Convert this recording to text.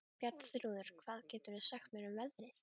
Bjarnþrúður, hvað geturðu sagt mér um veðrið?